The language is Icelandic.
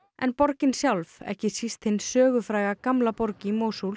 en borgin sjálf ekki síst hin sögufræga gamla borg í